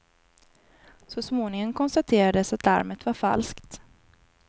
Så småningom konstaterades att larmet var falskt.